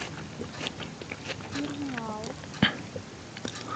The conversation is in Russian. тырныауз